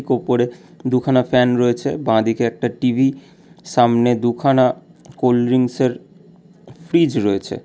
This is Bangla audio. উপরে দুখানা ফ্যান রয়েছে বাঁদিকে একটা টি_ভি সামনে দুখানা কোল্ড্রিংসের ফ্রিজ রয়েছে।